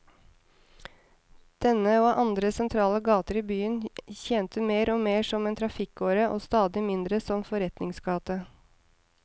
Denne, og andre sentrale gater i byen, tjente mer og mer som en trafikkåre og stadig mindre som forretningsgate.